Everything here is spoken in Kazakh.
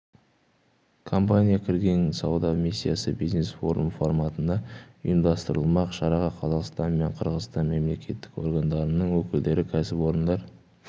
компания кірген сауда миссиясы бизнес-форум форматында ұйымдастырылмақ шараға қазақстан мен қырғызстан мемлекеттік органдарының өкілдері кәсіпорындар